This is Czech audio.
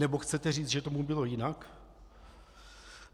Nebo chcete říct, že tomu bylo jinak?